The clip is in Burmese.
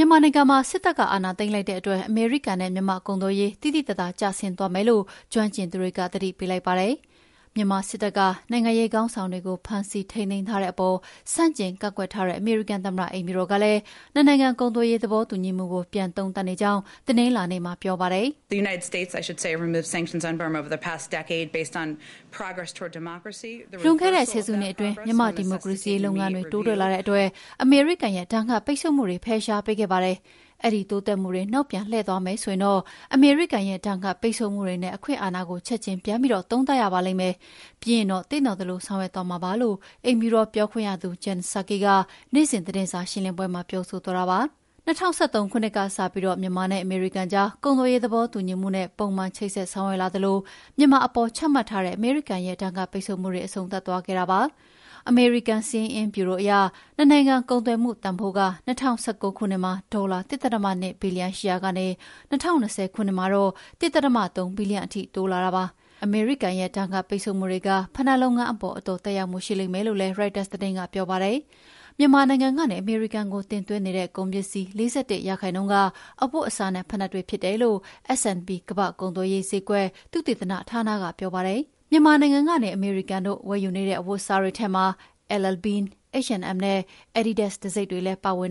မာနိုင်ငံမှာ စစ်တပ်က အာဏာသိမ်းလိုက်တဲ့အတွက် အမေရိကန်နဲ့မြန်မာ့ ကုန်သွယ်ရေး သိသိသာသာကျဆင်းသွားမယ်လို့ ကျွမ်းကျင်သူတွေက သတိပေးလိုက်ပါတယ်။ မြန်မာစစ်တပ်က နိုင်ငံရေးခေါင်းဆောင်တွေကို ဖမ်းဆီးထိန်းသိမ်းထားတဲ့အပေါ် ဆန့်ကျင်ကန့်ကွက်ထားတဲ့ အမေရိကန်သမ္မတအိမ်ဖြူတော်ကလည်း နှစ်နိုင်ငံကုန်သွယ်ရေးသဘောတူညီမှုကို ပြန်သုံးသပ်နေကြောင်း တနင်္လာနေ့ကပြောပါတယ်။ "လွန်ခဲ့တဲ့ ၁၀ စုနှစ်အတွင်း မြန်မာ့ဒီမိုကရေစီရေးလုပ်ငန်းတွေ တိုးတက်လာတဲ့အတွက်အမေရိကန်ရဲ့ ဒဏ်ခတ်ပိတ်ဆို့မှုတွေ ဖယ်ရှားပေးခဲ့ပါတယ်။ အဲဒီ တိုးတက်မှုတွေ နောက်ပြန်လှည့်သွားမယ်ဆိုရင်တော့ အမေရိကန်ရဲ့ ဒဏ်ခတ်ပိတ်ဆို့မှုတွေနဲ့ အခွင့်အာဏာကို ချက်ချင်းပြန်သုံးသပ်ရပါလိမ့်မယ်။ ပြီးရင်တော့ သင့်တော်သလိုဆောင်ရွက်မှာဖြစ်ပါတယ်” လို့ အိမ်ဖြူတော်ပြောခွင့်ရသူ Jen Psaki က နေ့စဉ်သတင်းစာရှင်းလင်းပွဲမှာ ပြောဆိုသွားတာပါ။ ၂၀၁၃ ခုနှစ်ကတည်းစပြီး မြန်မာနဲ့အမေရိကန်ကြား ကုန်သွယ်ရေးသဘောတူညီမှုနဲ့ ပုံမှန်ချိတ်ဆက်ဆောင်ရွက်လာသလို မြန်မာအပေါ် ချမှတ်ထားတဲ့ အမေရိကန်ရဲ့ ဒဏ်ခတ်ပိတ်ဆို့မှုတွေ အဆုံးသတ်သွားခဲ့တာဖြစ်ပါတယ်။ အမေရိကန်စာရင်းအင်းဗျူရိုအရ နှစ်နိုင်ငံကုန်သွယ်မှုတန်ဖိုးက ၂၀၁၉ ခုနှစ်မှာ ဒေါ်လာ ၁.၂ ဘီလီယံရှိရာကနေ ၂၀၂၀ ခုနှစ်မှာတော့ ၁.၃ ဘီလီယံထိ တိုးလာတာပါ။ အမေရိကန်ရဲ့ ဒဏ်ခတ်ပိတ်ဆို့မှုတွေက ဖိနပ်လုပ်ငန်းအပေါ်အတော်သက်ရောက်မှု ရှိလိမ့်မယ်လို့ ရိုက်တာသတင်းကပြောပါတယ်။ မြန်မာနိုင်ငံကနေ အမေရိကန်ကို တင်သွင်းနေတဲ့ ကုန်ပစ္စည်း ၄၁% က အဝတ်အစားနဲ့ ဖိနပ်တွေဖြစ်တယ်လို့ S&P ကမ္ဘာ့ကုန်သွယ်ရေးဈေးကွက် သုတေသနဌာနကပြောပါတယ်။ မြန်မာနိုင်ငံကနေ အမေရိကန်တို့ ဝယ်ယူနေတဲ့အဝတ်အစားတွေထဲမှာ LL Bean, H&M နဲ့ Adidas တံဆိပ်တွေလည်း ပါဝင်